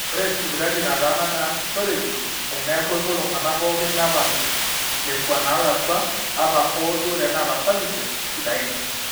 ore sipitali nataana neasishoreki teneeku epuo iltung'anak pooki nepal nekua naalakua ata hoo duo teneeta services sidain